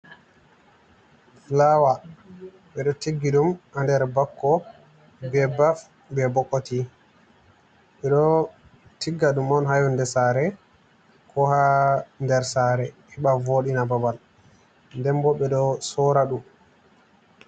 Flawa ɓeɗo tiggi ɗum a nder bakko be baf be bokoti, ɓeɗo tigga ɗum on ha yonde sare ko ha nder sare heɓa vodina babal den bo ɓeɗo sorra dum.